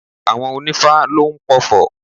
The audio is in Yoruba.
Àwọn onífá lóún pofò